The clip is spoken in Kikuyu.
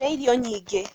Rĩa irio nyingĩ